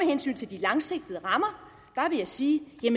hensyn til de langsigtede rammer vil jeg sige